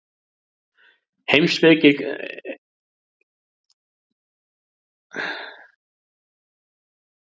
Heimspekileg spurning kann að virðast hjákátleg og einföld í fyrstu, og virst auðsvarað.